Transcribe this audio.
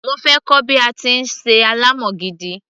mo fẹ́ kọ́ bí a ti ń ṣe ànàmọ́ gidi